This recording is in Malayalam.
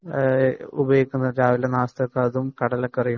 ഉപയോഗിക്കുന്നത് നാസ്തക്ക് അതും കടലക്കറിയും